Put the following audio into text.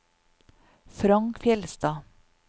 Frank Fjellstad